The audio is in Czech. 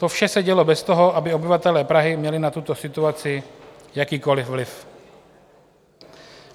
To vše se dělo bez toho, aby obyvatelé Prahy měli na tuto situaci jakýkoliv vliv.